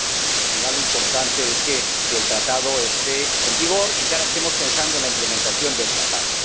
que al final lo importante es que el Tratado esté en vigor y que ahora estemos pensando en la implementación del Tratado.